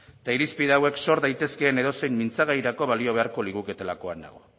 eta irizpide hauek zor daitezkeen edozein mintzagairako balio beharko liguketelakoan nago